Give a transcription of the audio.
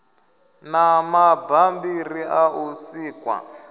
na mabambiri a u sikwa